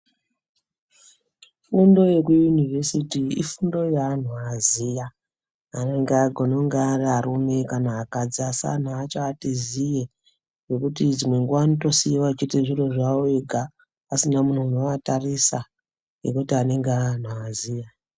Fundo yeku yunivhesiti ifundo yeanhu aziya anonga agone kunge ariarume kana akadzi asi anhu acho ati ziye ngekuti dzimwe nguwa anotisiiwa achiite zviro zvawo ega asina munhu unoatarisa ngekuti anenge ave anhu aziya.